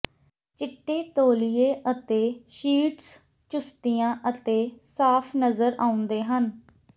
ਚਿੱਟੇ ਤੌਲੀਏ ਅਤੇ ਸ਼ੀਟਸ ਚੁਸਤੀਆਂ ਅਤੇ ਸਾਫ਼ ਨਜ਼ਰ ਆਉਂਦੇ ਹਨ